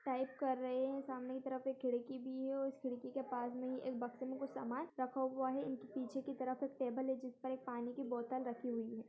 Type कर रहे है सामने की तरफ एक खिड़की भी है उस खिड़की के पास में ही एक बक्से में कुछ सामान रखा हुआ है इनके पीछे की तरफ एक टेबल है जिस पर एक पानी की बोतल रखी हुई है।